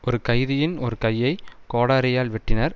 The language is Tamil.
ஒரு கைதியின் ஒரு கையை கோடாரியால் வெட்டினார்